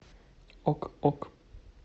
ок ок